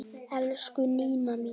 Elsku Nína mín.